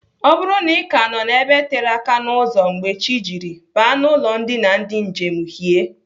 Ọ bụrụ na Ị ka nọ n'ebe tere aka n'ụzọ mgbe chi jiri, baa n'ụlọ ndina ndị njem hie.